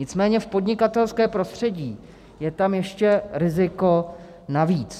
Nicméně v podnikatelském prostředí je tam ještě riziko navíc.